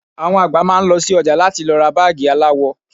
Àwọn àgbà máa lọ sí ọjà láti lọ ra báàgì aláwọ